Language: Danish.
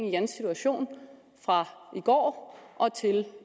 i jans situation fra i går og til